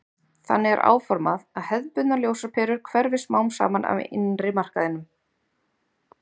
Þannig er áformað að hefðbundnar ljósaperur hverfi smám saman af innri markaðinum.